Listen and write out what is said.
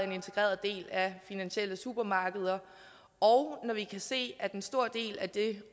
en integreret del af finansielle supermarkeder og når vi kan se at en stor del af det